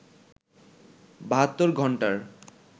৭২ ঘন্টার